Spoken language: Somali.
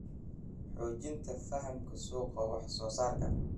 Xoojinta fahamka suuqa wax soo saarka.